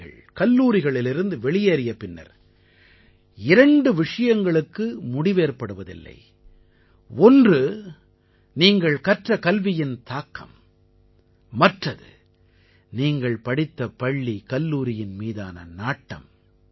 பள்ளிகள் கல்லூரிகளிலிருந்து வெளியேறிய பின்னர் இரண்டு விஷயங்களுக்கு முடிவேற்படுவதில்லை ஒன்று நீங்கள் கற்ற கல்வியின் தாக்கம் மற்றது நீங்கள் படித்த பள்ளிகல்லூரியின் மீதான நாட்டம்